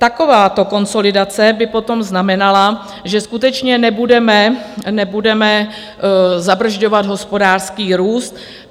Takováto konsolidace by potom znamenala, že skutečně nebudeme zabrzďovat hospodářský růst.